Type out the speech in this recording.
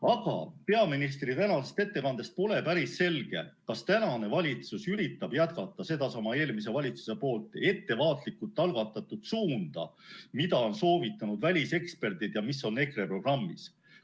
Aga peaministri tänasest ettekandest pole päris selge, kas tänane valitsus üritab jätkata sedasama eelmise valitsuse ettevaatlikult algatatud suunda, mida on soovitanud väliseksperdid ja mis on EKRE programmis.